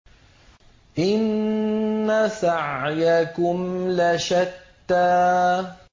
إِنَّ سَعْيَكُمْ لَشَتَّىٰ